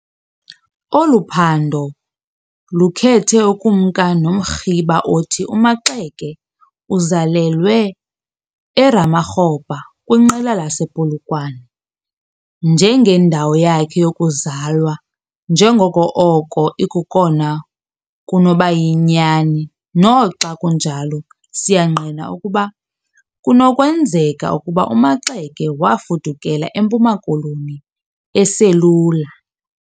Olu phando lukhethe ukumka nomrhiba othi uMaxeke uzalelwe eRamakgopa kwinqila lasePolokwane njengendawo yakhe yokuzalwa njengoko oko ikokona kunoba yinyani. Noxa kunjalo, siyangqina ukuba kunokwenzeka ukuba uMaxeke wafudukela eMpuma Koloni eselula.